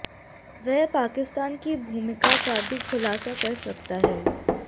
वह पाकिस्तान की भूमिका का भी खुलासा कर सकता है